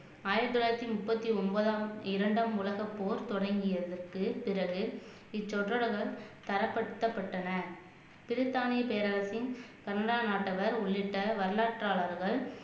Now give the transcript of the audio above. ஆயிரத்தி தொள்ளாயிரத்தி முப்பத்தி ஒன்பதாம் இரண்டாம் உலகப்போர் தொடங்கியதற்கு பிறகு இச்சொற்றலகம் தரப்படுத்தப்பட்டன பிரித்தாணி பேரரசின் சந்தான நாட்டவர் உள்ளிட்ட வரலாற்றாளர்கள்